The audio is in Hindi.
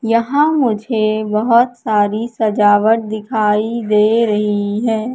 यहां मुझे बहोत सारी सजावट दिखाई दे रही है।